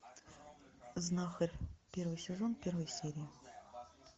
знахарь первый сезон первая серия